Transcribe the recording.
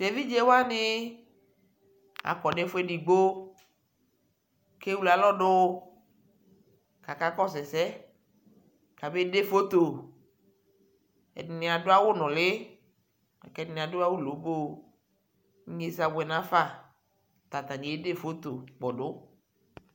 Tevidzewani akɔ nʋ ɛfu edigbo kewle aIɔ dʋ kʋ akakɔsu ɛsɛ kabede foto Ɛdι nι radʋ lʋlι la kʋ ɛdι nι adʋ awo loboo Inyaza abuɛ dʋ nʋ afa kʋ atani yede foto kpɔdʋ